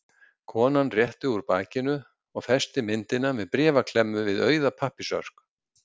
Konan rétti úr bakinu og festi myndina með bréfaklemmu við auða pappírsörk.